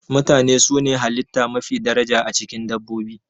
Mutane su ne halitta mafi daraja, a cikin dabbobi.